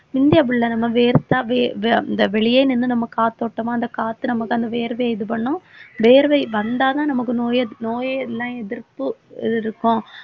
முந்தி அப்படியில்லை நம்ம வேர்த்தா வே~ வ~ இந்த வெளியே நின்னு நம்ம காத்தோட்டமா அந்த காத்து நமக்கு அந்த வியர்வையை இது பண்ணும் வேர்வை வந்தாதான் நமக்கு நோயெது~ நோயே எல்லாம் எதிர்ப்பு இருக்கும்.